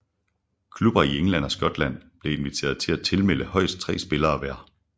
Klubber i England og Skotland blev inviteret til at tilmelde højst tre spillere hver